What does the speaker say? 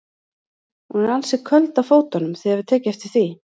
Hún er ansi köld á fótunum, þið hafið tekið eftir því?